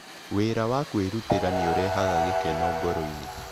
Wĩra wa kwĩrutĩra nĩ ũrehaga gĩkeno ngoro-inĩ.